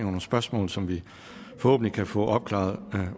nogle spørgsmål som vi forhåbentlig kan få opklaret